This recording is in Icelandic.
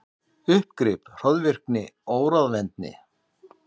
Uppgrip, hroðvirkni, óráðvendni.